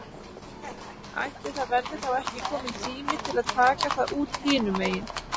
Ætli það verði þá ekki kominn tími til að taka það út hinum megin?